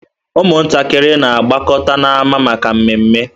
Ụmụntakịrị na-agbakọta n'ámá maka mmeme.